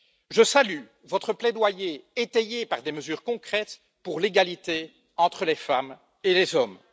Je salue votre plaidoyer, étayé par des mesures concrètes, pour l'égalité entre les femmes et les hommes.